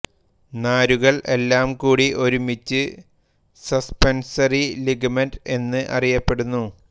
നാരുകൾ എല്ലാം കൂടി ഒരുമിച്ച് സസ്പെൻസറി ലിഗമെന്റ് എന്ന് അറിയപ്പെടുന്നു